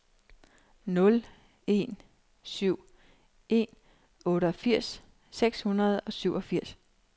nul en syv en otteogfirs seks hundrede og syvogfirs